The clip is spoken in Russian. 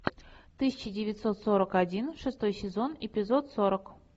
тысяча девятьсот сорок один шестой сезон эпизод сорок